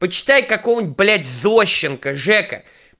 почитай какого-нибудь блядь зощенко жека